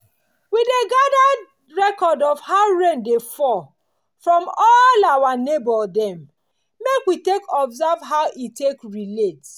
we dey gadir record of how rain dey fall from all our neighbour dem make we take observe how e take relate.